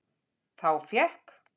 Þá fékk